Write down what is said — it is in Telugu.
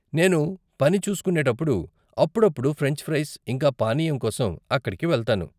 నేను పని చేస్కునేటప్పుడు, అప్పుడప్పుడు, ఫ్రెంచ్ ఫ్రైస్, ఇంకా పానీయం కోసం అక్కడికి వెళ్తాను